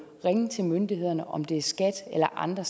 ringe til myndighederne om det er skat eller andre